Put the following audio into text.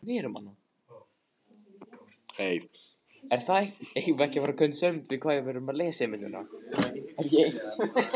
Hún gat ekkert gert þegar Jói kippti buxunum niður um hana.